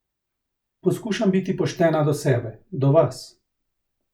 Poskušam biti poštena do sebe, do vas.